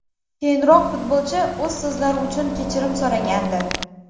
Keyinroq futbolchi o‘z so‘zlari uchun kechirim so‘ragandi.